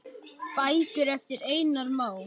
Bækur eftir Einar Má.